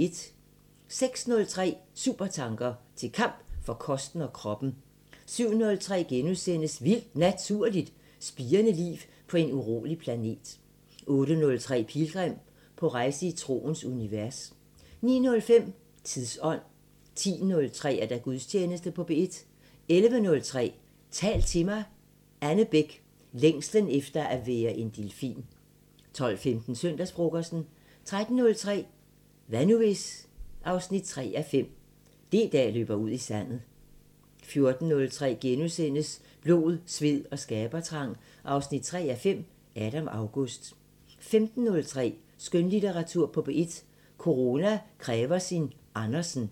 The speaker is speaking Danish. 06:03: Supertanker: Til kamp for kosten og kroppen 07:03: Vildt Naturligt: Spirende liv på en urolig planet * 08:03: Pilgrim – på rejse i troens univers 09:05: Tidsånd 10:03: Gudstjeneste på P1 11:03: Tal til mig – Anne Bech: Længslen efter at være en delfin 12:15: Søndagsfrokosten 13:03: Hvad nu hvis...? 3:5 – D-dag løber ud i sandet 14:03: Blod, sved og skabertrang 3:5 – Adam August * 15:03: Skønlitteratur på P1: Corona kræver sin Andersen